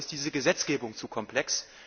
Dafür ist diese Gesetzgebung zu komplex.